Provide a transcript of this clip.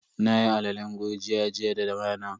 Nayi alalen gurjiya jiya da rana.